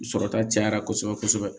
Sɔrɔta cayara kosɛbɛ kosɛbɛ